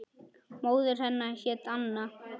Móðir hennar hét Anna